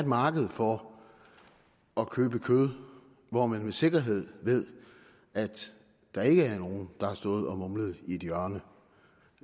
marked for at købe kød hvor man med sikkerhed ved at der ikke er nogen der har stået og mumlet i et hjørne